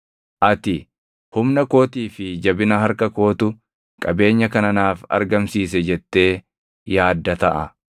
Ati, “Humna kootii fi jabina harka kootu qabeenya kana naaf argamsiise jettee” yaadda taʼa.